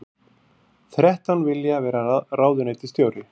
Þrettán vilja vera ráðuneytisstjóri